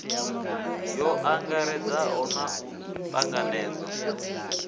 yo angaredzaho na u tanganedzwa